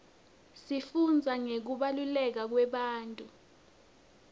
sifundza ngekubaluleka kwebantfu